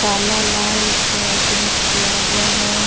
काला लाल पे प्रिंट किया हुआ है।